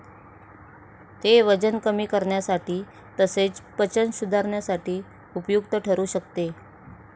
ते वजन कमी करण्यासाठी तसेच पचन सुधारण्यास उपयुक्त ठरू शकते.